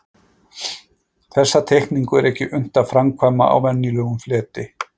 Þessa teikningu er ekki unnt að framkvæma á venjulegum fleti.